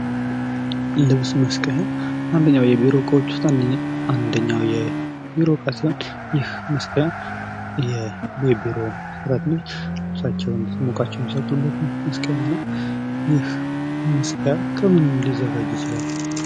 ልብስ መስቀያ አንደኛው ከቢሮ እቃዎች ውስጥ አንደኛው የቢሮ እቃ ሲሆን የልብስ መስቀያ የቢሮ ሰራተኞች ልብሳቸውን ሲሞቃቸው ሚሰቅሉበት መስቀያ ነው። ይህ መስቀል ከምን ሊዘጋጅ ይችላል?